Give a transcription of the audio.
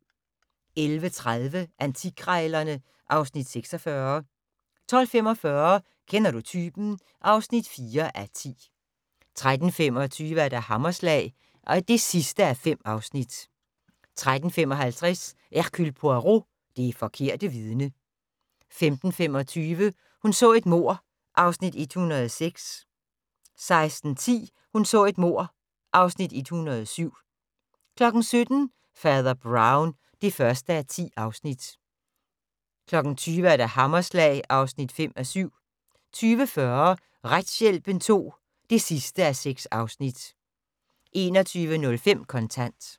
11:30: Antikkrejlerne (Afs. 46) 12:45: Kender du typen? (4:10) 13:25: Hammerslag (5:5) 13:55: Hercule Poirot: Det forkerte vidne 15:25: Hun så et mord (Afs. 106) 16:10: Hun så et mord (Afs. 107) 17:00: Fader Brown (1:10) 20:00: Hammerslag (5:7) 20:40: Retshjælpen II (6:6) 21:05: Kontant